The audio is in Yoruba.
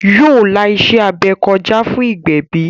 Yóò la iṣẹ́-abẹ kọjá fún ìgbẹ̀bí